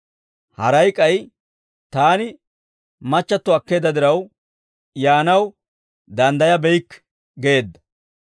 «Haray k'ay, ‹Taani machchatto akkeedda diraw, yaanaw daanddayabeykke› geedda.